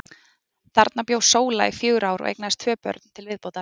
Þarna bjó Sóla í fjögur ár og eignaðist tvö börn til viðbótar.